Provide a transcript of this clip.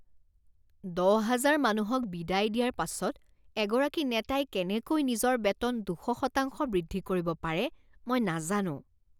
দহ হাজাৰ মানুহক বিদায় দিয়াৰ পাছত এগৰাকী নেতাই কেনেকৈ নিজৰ বেতন দুশ শতাংশ বৃদ্ধি কৰিব পাৰে মই নাজানো